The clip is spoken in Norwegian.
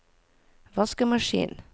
vaskemaskin